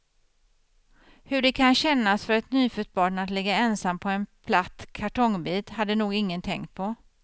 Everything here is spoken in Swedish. Hur det kan kännas för ett nyfött barn att ligga ensam på en platt kartongbit, hade nog ingen tänkt på.